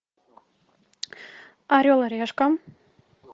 орел и решка